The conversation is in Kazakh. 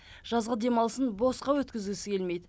жазғы демалысын босқа өткізгісі келмейді